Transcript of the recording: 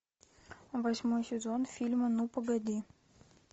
восьмой сезон фильма ну погоди